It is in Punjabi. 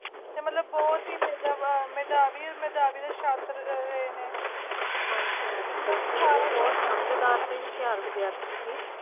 ਤੇ ਮਤਲਬ ਬਹੁਤੀ ਮਿਲਦਾ ਵਾਰ ਮੈਦਾਨਾਂ ਦਾ ਵਿਸ਼ਾ ਹਨ ਪਿਆਰ ਦੀ ਭੀਖ ਉਹ ਸਮਝਦਾਰ ਤੇ ਹੁਸ਼ਿਆਰ ਵਿਦਿਆਰਥੀ ਸੀ